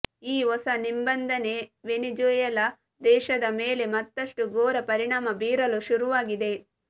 ಈ ಹೊಸ ನಿಬಂಧನೆ ವೆನಿಜುಯೆಲಾ ದೇಶದ ಮೇಲೆ ಮತ್ತಷ್ಟು ಘೋರ ಪರಿಣಾಮ ಬೀರಲು ಶುರುವಾಗಿದೆ